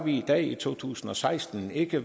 i dag i to tusind og seksten ikke